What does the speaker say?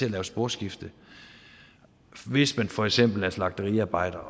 at lave sporskifte hvis man for eksempel er slagteriarbejder